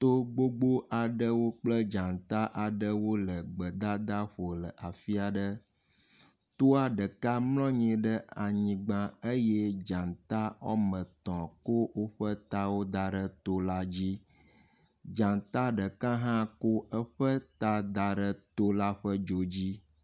To gbogbo aɖewo kple dzata aɖewo le gbedadaƒo ɖe afi aɖe. Toa ɖeka mlɔ anyi ɖe anyigba eye dzata wɔme etɔ̃ ko woƒe tawo da ɖe to la dzi. Dzata ɖeka hã ko eƒe ta da ɖe to la ƒe dzo dzi.